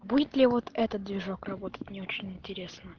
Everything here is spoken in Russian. будет ли вот этот движок работать мне очень интересно